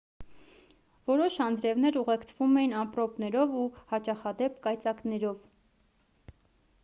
որոշ անձրևներ ուղեկցվում էին ամպրոպներով ու հաճախադեպ կայծակներով